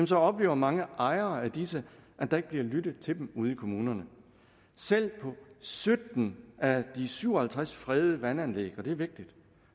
så oplever mange ejere af disse at der ikke bliver lyttet til dem ude i kommunerne selv på sytten af de syv og halvtreds fredede vandanlæg og det er vigtigt